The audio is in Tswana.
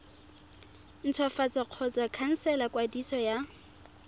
ntshwafatsa kgotsa khansela kwadiso ya